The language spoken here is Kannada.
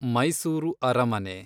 ಮೈಸೂರು ಅರಮನೆ